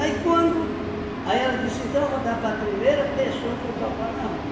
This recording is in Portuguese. quando... Aí ela disse, então eu vou dar para primeira pessoa que eu topar na rua.